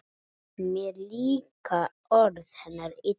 Mér líka orð hennar illa